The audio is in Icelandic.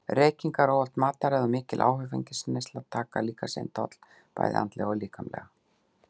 Reykingar, óhollt mataræði og mikil áfengisneysla taka líka sinn toll bæði andlega og líkamlega.